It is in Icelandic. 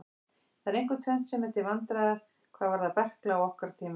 Það er einkum tvennt sem er til vandræða hvað varðar berkla á okkar tímum.